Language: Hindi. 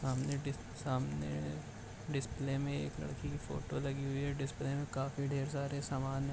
सामने डिस सामने डिस्प्ले में एक लड़की की फोटो लगी हुई है डिस्प्ले में काफी ढेर सारे सामान हैं।